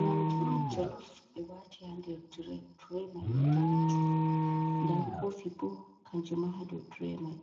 Nyamɗu on jolof, ɓe wati ha nɗer tirei. Tirei mai ni ɗanejum. Nɗa kofi ɓo kanjuma ha ɗo tirei mai.